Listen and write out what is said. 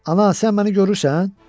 Ana, sən məni görürsən?